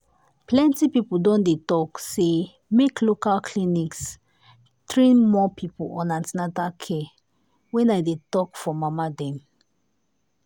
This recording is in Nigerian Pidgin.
plenty people don dey talk say make local clinics train more people on an ten atal care wey i dey talk for mama dem.